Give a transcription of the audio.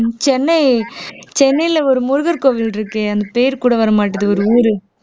சென்னை சென்னையில ஒரு முருகர் கோவில் இருக்கு அந்த பேர் கூட வரமாட்டேங்குது ஒரு ஊரு